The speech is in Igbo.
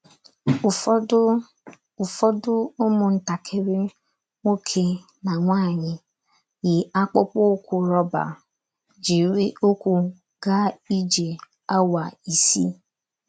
Ụfọdụ Ụfọdụ ụmụntakịrị nwoke na nwaanyị yi akpụkpọ ụkwụ rọba, jiri ụkwụ gaa ije awa isii.